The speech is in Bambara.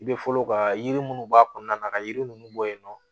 I bɛ fɔlɔ ka yiri munnu b'a kɔnɔna na ka yiri ninnu bɔ yen nɔ